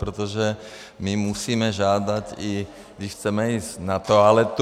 Protože my musíme žádat, i když chceme jít na toaletu.